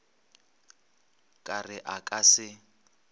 ka re a ka se